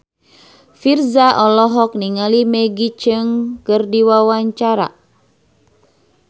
Virzha olohok ningali Maggie Cheung keur diwawancara